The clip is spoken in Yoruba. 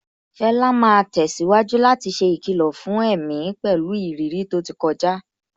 Fela máa tẹ̀síwájú láti ṣe ìkìlọ̀ fún èmi pẹ̀lú ìrírí tó ti kọjá.